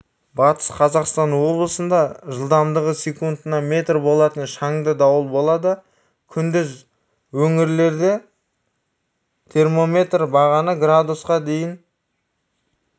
батыс қазақстан облысында жылдамдығы секундына метр болатын шаңды дауыл болады күндіз өңірлерде термометр бағаны градусқа дейін